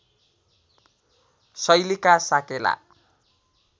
शैलीका साकेला